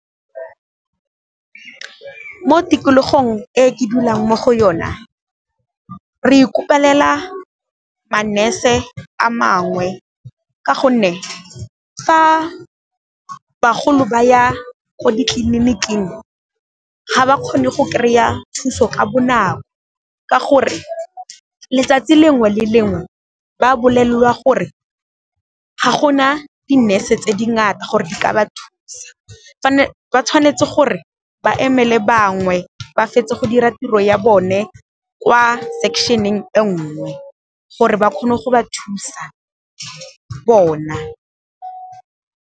Mo tikologong e ke dulang mo go yona re ikopelela manese a mangwe ka gonne, fa bagolo ba ya ko ditleliniking ga ba kgone go kry-a thuso ka bonako ka gore, letsatsi lengwe le lengwe ba bolelelwa gore ga gona dinese tse dingata gore di ka ba thusa ba tshwanetse gore ba emele bangwe ba fetse go dira tiro ya bone kwa section-eng e ngwe gore ba kgone go ba thusa bona.